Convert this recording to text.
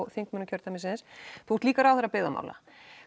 þingmönnum kjördæmisins þú ert líka ráðherra byggðamála